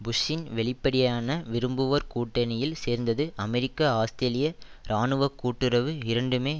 புஷ்ஷின் வெளிப்படையான விரும்புவோர் கூட்டணியில் சேர்ந்தது அமெரிக்க ஆஸ்திரேலிய இராணுவ கூட்டுறவு இரண்டுமே